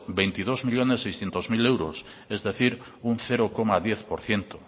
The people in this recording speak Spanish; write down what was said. veintidós millónes seiscientos mil es decir un cero coma diez por ciento